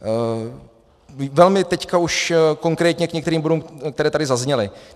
Velmi teď už konkrétně k některým bodům, které tady zazněly.